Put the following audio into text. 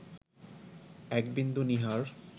একবিন্দু নীহার